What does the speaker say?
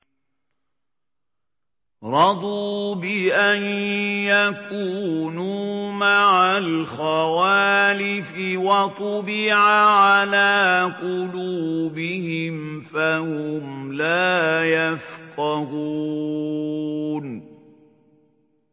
رَضُوا بِأَن يَكُونُوا مَعَ الْخَوَالِفِ وَطُبِعَ عَلَىٰ قُلُوبِهِمْ فَهُمْ لَا يَفْقَهُونَ